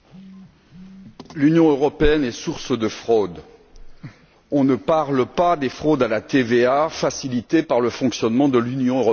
Madame la Présidente, l'Union européenne est source de fraudes. On ne parle pas des fraudes à la TVA, facilitées par le fonctionnement de l'Union européenne